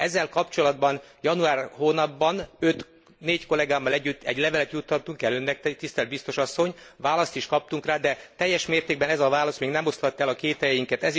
Ezzel kapcsolatban január hónapban négy kollégámmal együtt egy levelet juttatunk el Önnek, tisztelt biztos asszony, választ is kaptunk rá, de teljes mértékben ez a válasz még nem oszlatta el a kételyeinket.